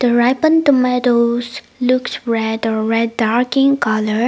ripen tomatos lookes red or red dark green colour.